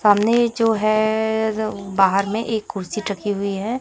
सामने जो है एए बाहर में एक कुर्सी तकी हुई है।